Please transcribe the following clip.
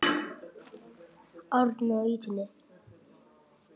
Árni á ýtunni.